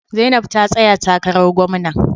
Zainab ta tsaya takarar gwamna.